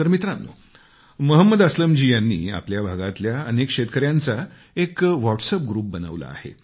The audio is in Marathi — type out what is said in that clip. तर मित्रांनो मोहम्मद असलम जी यांनी आपल्या भागातल्या अनेक शेतकऱ्यांचा एक व्हॉट्सएप ग्रुप बनवला आहे